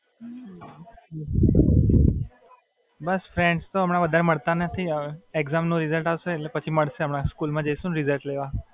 બસ friends તો વધારે હવે મડતા નથી હવે. exam નું result અવસે એટલે પછી મડસે બધા હવે, school માં જાઈસુ ને result લેવા.